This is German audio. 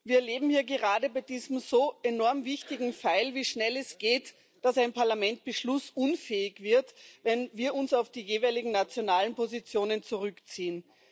Wir erleben hier gerade bei diesem so enorm wichtigen Dossier, wie schnell es geht, dass ein Parlament beschlussunfähig wird, wenn wir uns auf die jeweiligen nationalen Positionen zurückziehen.